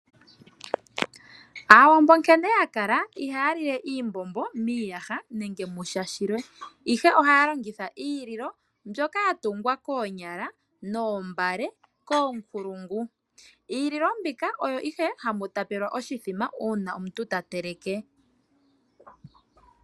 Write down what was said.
Aawambo nkene yakala, iha ya lile iimbombo miiyaha nenge musha shilwe. Ihe ohaya longitha iililo mbyoka ya tungwa koonyala noombale koonkulungu. Iililo mbika oyo ihe hamu tapelwa oshithima uuna omuntu ta teleke.